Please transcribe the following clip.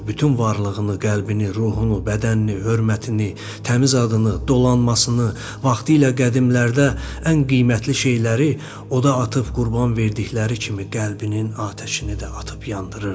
Bütün varlığını, qəlbini, ruhunu, bədənini, hörmətini, təmiz adını, dolanmasını, vaxtilə qədimlərdə ən qiymətli şeyləri oda atıb qurban verdikləri kimi qəlbinin atəşini də atıb yandırırdı.